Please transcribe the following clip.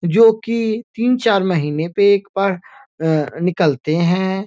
जो कि तीन-चार महीने पे एक बार अ निकलते हैं।